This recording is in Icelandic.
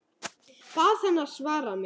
Bað hana að svara mér.